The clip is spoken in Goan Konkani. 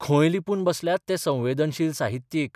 खंय लिपून बसल्यात ते संवेदनशील साहित्यीक?